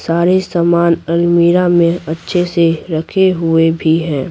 सारे सामान अलमीरा में अच्छे से रखे हुए भी हैं।